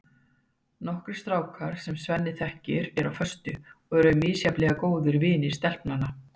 Nokkrir strákar, sem Svenni þekkir og eru á föstu, eru misjafnlega góðir vinir stelpnanna.